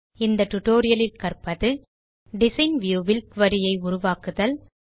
இந்த டுடோரியலில் கற்பது டிசைன் வியூ வில் குரி ஐ உருவாக்குதல்